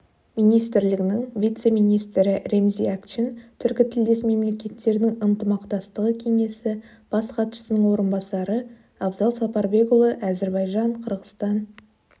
министрлігінің вице-министрі ремзи акчын түркітілдес мемлекеттердің ынтымақтастығы кеңесі бас хатшысының орынбасары абзал сапарбекұлы әзербайжан қырғызстан